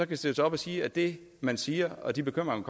kan stille sig op og sige at det man siger og de bekymringer